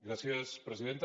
gràcies presidenta